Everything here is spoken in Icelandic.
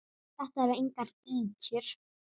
Þetta eru engar ýkjur.